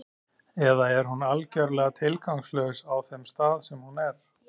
Eða er hún algjörlega tilgangslaus á þeim stað sem hún er?